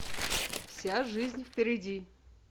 вся жизнь впереди